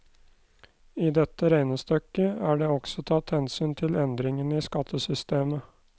I dette regnestykket er det også tatt hensyn til endringene i skattesystemet.